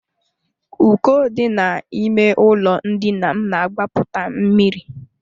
Uko dị n'ime ụlọ ndina m na-agbapụta mmiri.